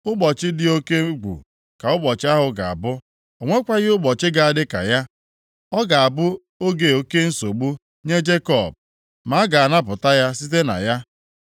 Ụbọchị dị oke egwu ka ụbọchị ahụ ga-abụ. O nwekwaghị ụbọchị ga-adị ka ya. Ọ ga-abụ oge oke nsogbu nye Jekọb, ma a ga-anapụta ya site na ya.